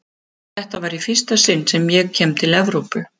Þetta var í fyrsta sinn sem ég kem til Evrópu.